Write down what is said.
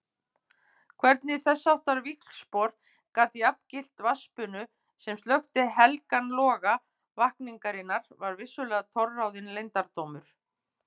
Hvernig þessháttar víxlspor gat jafngilt vatnsbunu sem slökkti helgan loga vakningarinnar var vissulega torráðinn leyndardómur.